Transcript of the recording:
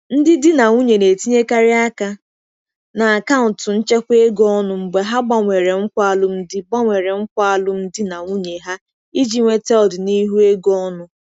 Ndị di na nwunye na-etinyekarị aka na akaụntụ nchekwa ego ọnụ mgbe ha gbanwere nkwa alụmdi gbanwere nkwa alụmdi na nwunye ha iji nweta ọdịnihu ego ọnụ.